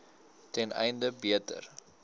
ten einde beter